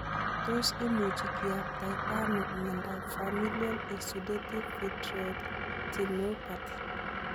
Tos imuchi kiyaptaita ano miondop familial exudative vitreoretinopathy?